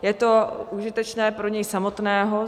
Je to užitečné pro něj samotného.